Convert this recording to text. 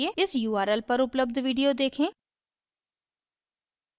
इस url पर उपलब्ध video देखें